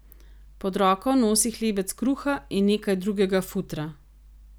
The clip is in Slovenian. Pod roko nosi hlebec kruha in nekaj drugega futra.